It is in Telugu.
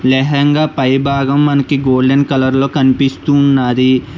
లెహంగా పైభాగం మనకి గోల్డెన్ కలర్ లో కనిపిస్తూ ఉన్నాది.